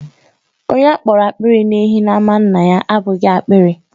Onye a kpọrọ apiri na_ehi n'ámá nna ya abụghị apiri.